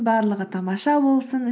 барлығы тамаша болсын